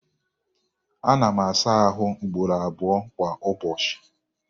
Ana m asa ahụ ugboro abụọ kwa ụbọchị.